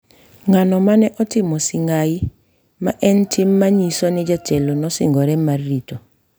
Ng’ano mane otimo sing’ai, ma en tim ma nyiso ni jatelo nosingore mar rito